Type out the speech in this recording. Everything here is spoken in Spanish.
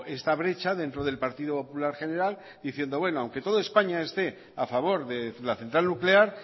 esta brecha dentro del partido popular federal diciendo bueno que todo españa esté a favor de la central nuclear